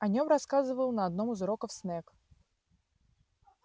о нём рассказывал на одном из уроков снегг